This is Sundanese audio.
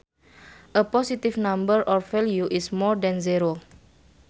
A positive number or value is more than zero